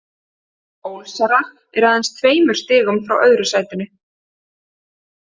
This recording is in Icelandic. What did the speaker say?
Ólsarar eru aðeins tveimur stigum frá öðru sætinu.